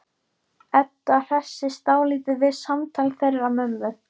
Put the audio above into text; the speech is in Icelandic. Edda hressist dálítið við samtal þeirra mömmu.